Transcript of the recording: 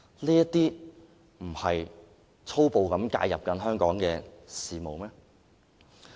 "這不是粗暴介入香港的事務嗎？